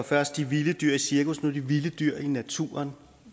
først de vilde dyr i cirkus og nu de vilde dyr i naturen